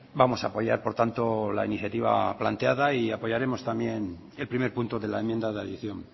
vamos a apoyar por tanto la iniciativa planteada y apoyaremos también el primer punto de la enmienda de adición